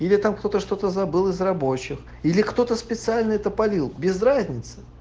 или там кто-то что-то забыл из рабочих или кто-то специально это полил без разницы